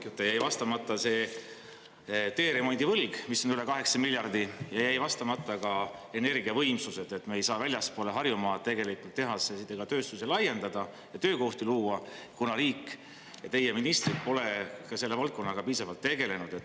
Jäi vastamata see teeremondivõlg, mis on üle 8 miljardi, ja jäi vastamata ka energiavõimsused, et me ei saa väljaspool Harjumaad tehaseid ega tööstusi laiendada ja töökohti luua, kuna riik ja teie ministrid pole ka selle valdkonnaga piisavalt tegelenud.